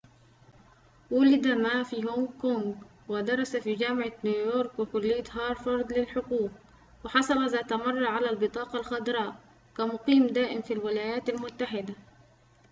وُلد ما في هونغ كونغ ودرس في جامعة نيويورك وكلية هارفارد للحقوق وحصل ذات مرة على البطاقة الخضراء كمقيم دائم في الولايات المتحدة